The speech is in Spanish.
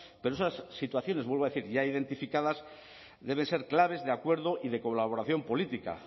pero esas situaciones vuelvo a decir ya identificadas deben ser claves de acuerdo y de colaboración política